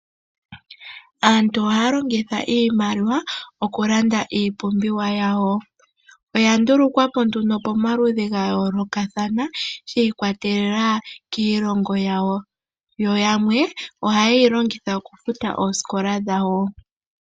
Aantu ohaya longitha iimaliwa okulanda iipumbiwa yawo, oya ndulukwa po nduno pamaludhi gayoolokathana shiikwatelela kiilongo yawo, yo yamwe ohaye yi longitha okufuta oosikola dhawo.